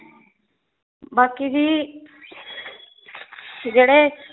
ਬਾਕੀ ਜੀ ਜਿਹੜੇ